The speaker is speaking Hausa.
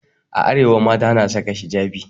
A arewa mata na saka hijabi.